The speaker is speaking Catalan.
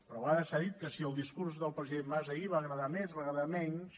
però a vegades s’ha dit que si el discurs del president mas ahir va agradar més va agradar menys